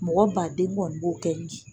Mɔgɔ ba den kɔni b'o kɛ nji